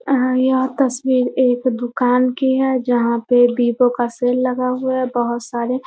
अ यह तस्वीर एक दुकान की हैं जहाँ पे विवो का सेल लगा हुआ है बहुत सारे।